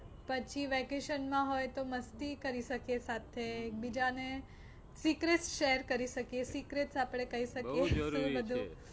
પછી vacation માં હોય તો મસ્તી કરી શકીએ સાથે. એક બીજા ને secrate share કરી શકીએ secrates આપણે કહી શકીએ બધું. બહુ જરૂરી છે.